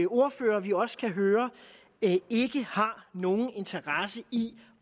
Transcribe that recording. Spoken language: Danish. ordførere vi også kan høre ikke har nogen interesse i